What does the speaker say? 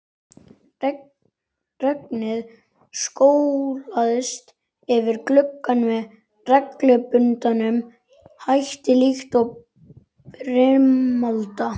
Regnið skolaðist yfir gluggann með reglubundnum hætti líkt og brimalda.